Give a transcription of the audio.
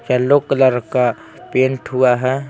Yellow colour का paint हुआ हैं।